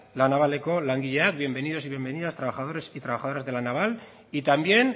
la navaleko langileak bienvenidos y bienvenidas trabajadores y trabajadoras de la naval y también